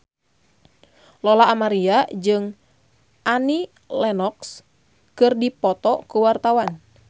Lola Amaria jeung Annie Lenox keur dipoto ku wartawan